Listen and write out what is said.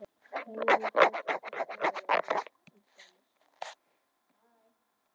Heimir: Muntu leggjast gegn álveri á Bakka til dæmis?